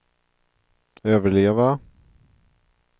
överleva